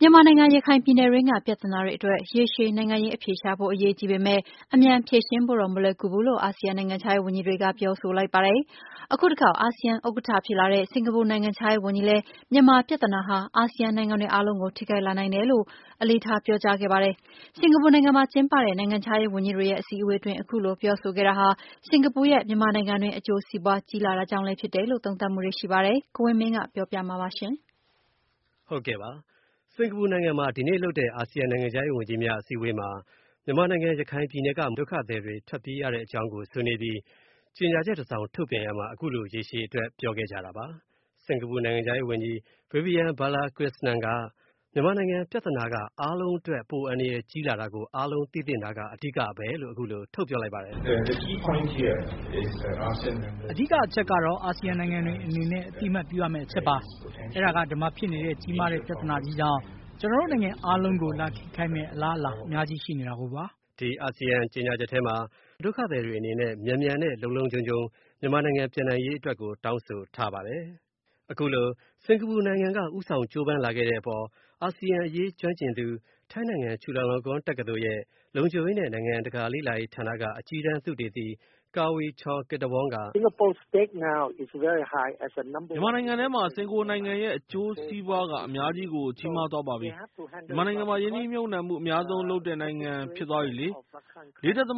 မြန်မာနိုင်ငံ၊ ရခိုင်ပြည်နယ်တွင်းက ပြဿနာတွေအတွက် ရေရှည် နိုင်ငံရေးအဖြေရှာဖို့ အရေးကြီးပေမယ့် အမြန်ဖြေရှင်းဖို့တော့ မလွယ်ကူဘူးလို့ အာဆီယံ နိုင်ငံခြားရေးဝန်ကြီး တွေက ပြောဆိုလိုက်ပါတယ်။ အခုတခေါက် အာဆီယံဥက္ကဌ ဖြစ်လာတဲ့ စင်္ကာပူနိုင်ငံခြားရေးဝန်ကြီးလည်း မြန်မာပြဿနာဟာ ASEAN နိုင်ငံတွေအားလုံးကို ထိခိုက်လာနိုင်တယ်လို့ အလေးထားပြောကြားခဲ့ပါတယ်။ စင်္ကာပူနိုင်ငံမှာ ကျင်းပတဲ့ နိုင်ငံခြားရေးဝန်ကြီးတွေရဲ့ အစည်းအဝေးတွင်း ခုလိုပြောဆိုခဲ့တာဟာ စင်္ကာပူရဲ့ မြန်မာနိုင်ငံတွင်း အကျိုးစီးပွါးကြီးလာတာကြောင့်လဲဖြစ်တယ်လို့ သုံးသပ်ထားပါတယ်။ ကိုဝင်းမင်းက ဆက်ပြောပြမှာပါ။ စင်္ကာပူနိုင်ငံမှာ ဒီနေ့လုပ်တဲ့ အာဆီယံ နိုင်ငံခြားရေးဝန်ကြီးတွေရဲ့ အစည်းအဝေးမှာ မြန်မာနိုင်ငံ ရခိုင်ပြည်နယ်က ဒုက္ခသည်တွေ ထွက်ပြေးရတဲ့အကြောင်းကို ဆွေးနွေးပြီး ကြေညာချက်တစောင်ထုတ်ပြန်ရာမှာ အခုလိုရေရှည်အတွက်ပြောခဲ့ကြတာပါ။ စင်္ကာပူ နိုင်ငံခြားရေးဝန်ကြီး Vivian Balakrishnan က မြန်မာနိုင်ငံ ပြဿနာက အားလုံးအတွက် ပိုအန္တရာယ်ကြီးလာတာကို သိသင့်တာက အဓိကပဲလို့ အခုလို ပြောလိုက်ပါတယ်။ “အဓိက အချက်ကတော့ အာဆီယံ နိုင်ငံတွေအနေနဲ့ အသိအမှတ်ပြုရမဲ့ အချက်ပါ။ အဲ့ဒါက ဒီမှာဖြစ်နေတဲ့ ကြီးမားတဲ့ ပြဿနာကြီးကြောင့် ကျွန်တော်တို့နိုင်ငံအားလုံးကို လာထိခိုက်မယ့် အလားအလာ အများကြီးရှိနေတာကိုပါ။” ဒီအာဆီယံကြေညာချက်မှာ ဒုက္ခသည်တွေအနေနဲ့ မြန်မြန်နဲ့ လုံလုံခြုံခြုံ မြန်မာနိုင်ငံ ပြန်နိုင်ရေး အတွက်ကို တောင်းဆိုထားပါတယ်။ အခုလိုစင်္ကာပူနိုင်ငံက ဦးဆောင်ကြိုးပမ်းလာတဲ့အပေါ် အာဆီယံအရေးကျွမ်းကျင်သူ ထိုင်းနိုင်ငံ ချူလာလောင်ကောင်တက္ကသိုလ်က လုံခြုံရေးနဲ့ နိုင်ငံတကာ လေ့လာရေးဌာနက အကြီးတန်းသုတေသီ Kavi Chongkittavorn က “စင်္ကာပူနိုင်ငံရဲ့ မြန်မာနိုင်ငံထဲ အကျိုးစီးပွားက အများကြီးကို ကြီးမားသွားပါပြီ။ မြန်မာနိုင်ငံမှာ ရင်းနှီးမြုပ်နှံမှု အများဆုံး လုပ်တဲ့နိုင်ငံဖြစ်သွားပြီလေ။ ၄.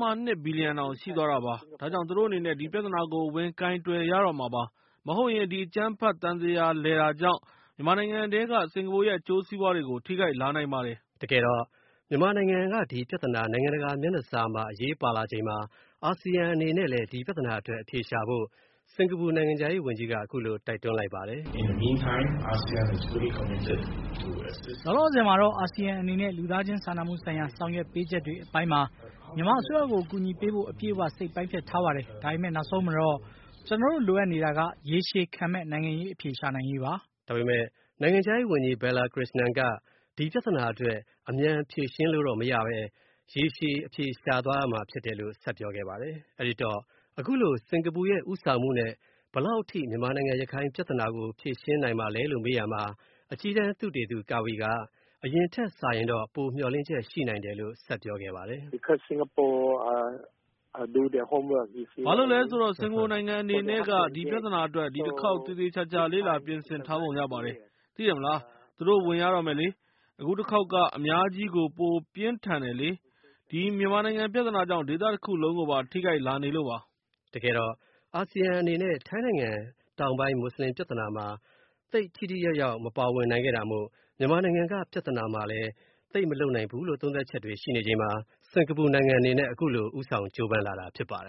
၂ ဘီလျံတောင်ရှိသွားတာပါ။ ဒါကြောင့် သူတို့အနေနဲ့ ဒီပြဿနာကို ဝင်ကိုင်တွယ်ရတော့မှာပါ။ မဟုတ်ရင် ဒီအကြမ်းဖက် သံသရာလည်တာကြောင့် မြန်မာနိုင်ငံထဲက စင်္ကာပူရဲ့ အကျိုးစီးပွားတွေကို ထိခိုက်လာနိုင်ပါတယ်။” တကယ်တော့ မြန်မာနိုင်ငံက ဒီပြဿနာ နိုင်ငံတကာ မျက်နှာစာမှာ အရေးပါလာချိန်မှာ အာဆီယံအနေနဲ့လည်း ဒီပြဿနာအတွက်အဖြေရှာဖို့ စင်္ကာပူနိုင်ငံခြားရေးဝန်ကြီးက အခုလိုတိုက်တွန်းလိုက်ပါတယ်။ “လောလောဆယ်မှာတော့ အာဆီယံအနေနဲ့ လူသားချင်းစာနာမှုဆိုင်ရာ ဆောင်ရွက်ပေးချက်တွေအပိုင်းမှာ မြန်မာအစိုးရကို ကူညီပေးဖို့ အပြည့်အဝ စိတ်ပိုင်းဖြတ်ထားပါတယ်။ ဒါပေမဲ နောက်ဆုံးမှာတော့ ကျွန်တော်တို လိုအပ်နေတာက ရေရှည်ခံမဲ့ နိုင်ငံရေးအဖြေ ရှာနိုင်ရေးပါ။” ဒါပေမယ့် နိုင်ငံခြားရေးဝန်ကြီး ဘယ်လာခရစ်စနန်က ဒီပြဿနာအတွက်အမြန်ဖြေရှင်းလို့တော့မရပဲ ရေရှည်အဖြေရှာသွားရမှာ ဖြစ်တယ်လို့ ဆက်ပြောပါတယ်။ အဲဒီတော့ အခုလို စင်္ကာပူရဲ့ ဦးဆောင်မှု ဘယ်လောက်အထိ မြန်မာနိုင်ငံ ရခိုင်ပြဿနာကို ဖြေရှင်းနိုင်မလဲလို့ မေးရာမှာ အကြီးတန်းသုတေသီ Kavi Chongkittavorn က အရင်ထက်စာရင်တော့ မျှော်လင့်ချက်ရှိနိုင်တယ်လို့ ပြောခဲ့ပါတယ်။ “ဘာလို့လဲဆိုတော့ စင်္ကာပူနိုင်ငံအနေနဲ့က ဒီပြဿနာအတွက် ဒီတစ်ခေါက် သေသေချာချာ လေ့လာပြင်ဆင်ထားပုံရပါတယ်။ သိတယ်မလား၊ သူတို့ဝင်ရတော့မယ်လေ။ အခုတစ်ခေါက် က အများကြီးကို ပိုပြင်းထန်တယ်လေ၊ ဒီ မြန်မာနိုင်ငံ ပြဿနာကြောင့် ဒေသတခုလုံးကိုပါ ထိခိုက်လာနေလို့ပါ။” တကယ်တော့ အာဆီယံအနေနဲ့ ထိုင်းနိုင်ငံ တောင်ပိုင်း မွတ်စလင်ပြဿနာမှာ သိပ်ပြီးထိထိရောက်ရောက် မပါဝင်နိုင်ခဲ့တာမို့ မြန်မာနိုင်ငံက ပြဿနာမှာလည်း သိပ်မလုပ်နိုင်ဘူးလို့ သုံးသပ်ချက်တွေရှိနေချိန်မှာ စင်္ကာပူ နိုင်ငံအနေနဲ့ အခုလို ဦးဆောင်ကြိုးပမ်းလာတာဖြစ်ပါတယ်